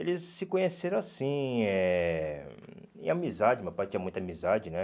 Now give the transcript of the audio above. Eles se conheceram assim, eh em amizade, meu pai tinha muita amizade, né?